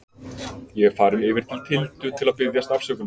Ég er farinn yfir til Tildu til að biðjast afsökunar.